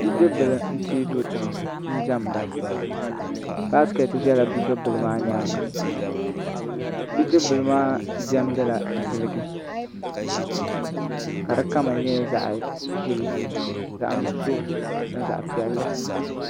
Bidib bili n teei do tiŋ n diɛmda baskɛt ʒɛla bidib bili maa nyaanga bidib bili maa diɛmdila ziliji ka di kama nyɛ zaɣ ʒiɛ zaɣ nuɣso ni zaɣ piɛlli